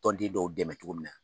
Tɔn den dɔw dɛmɛ cogo min na.